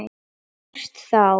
Hvert þá?